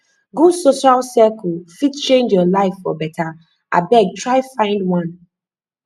good social circle fit change your life for beta abeg try find one